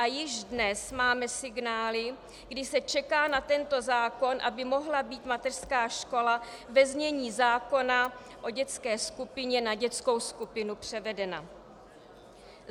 A již dnes máme signály, kdy se čeká na tento zákon, aby mohla být mateřská škola ve znění zákona o dětské skupině na dětskou skupinu převedena.